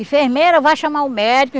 Enfermeira, vá chamar o médico.